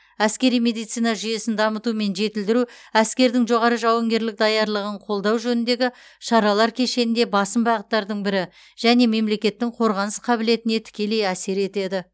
әскери медицина жүйесін дамыту мен жетілдіру әскердің жоғары жауынгерлік даярлығын қолдау жөніндегі шаралар кешенінде басым бағыттардың бірі және мемлекеттің қорғаныс қабілетіне тікелей әсер етеді